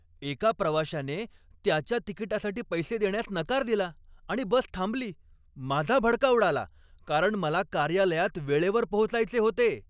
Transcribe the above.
एका प्रवाशाने त्याच्या तिकिटासाठी पैसे देण्यास नकार दिला आणि बस थांबली. माझा भडका उडाला कारण मला कार्यालयात वेळेवर पोहोचायचे होते.